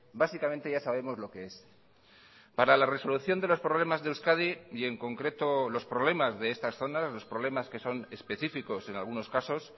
básicamente ya sabemos lo que es para la resolución de los problemas de euskadi y en concreto los problemas de estas zonas los problemas que son específicos en algunos casos